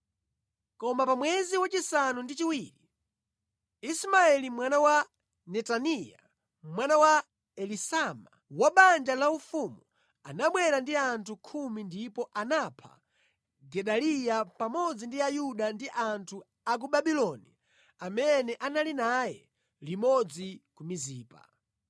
Koma pa mwezi wachisanu ndi chiwiri, Ismaeli mwana wa Netaniya, mwana wa Elisama, wa banja laufumu, anabwera ndi anthu khumi ndipo anapha Gedaliya pamodzi ndi Ayuda ndi anthu a ku Babuloni amene anali naye limodzi ku Mizipa.